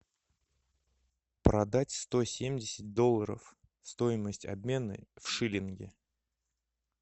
продать сто семьдесят долларов стоимость обмена в шиллинги